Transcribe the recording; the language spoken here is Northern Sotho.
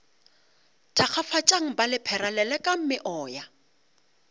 thakgafatšang ba lephera lelekang meoya